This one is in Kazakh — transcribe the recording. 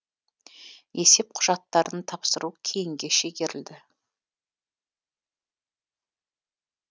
есеп құжаттарын тапсыру кейінге шегерілді